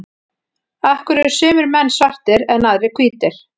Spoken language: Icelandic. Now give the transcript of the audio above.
af hverju eru sumir menn svartir en aðrir hvítir